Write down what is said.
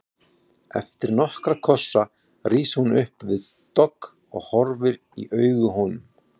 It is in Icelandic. Eftir nokkra kossa rís hún upp við dogg og horfir í augu honum.